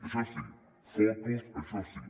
això sí fotos això sí